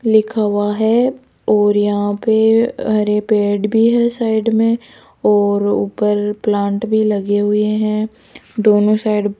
लिखा हुआ है और यहां पे हरे पेड़ भी है साइड में और ऊपर प्लांट भी लगे हुए है दोनों साइड --